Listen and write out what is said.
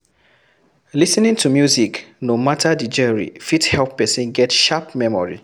Lis ten ing to music no matter the genre fit help person get sharp memory